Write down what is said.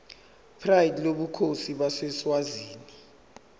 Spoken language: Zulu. pride lobukhosi baseswazini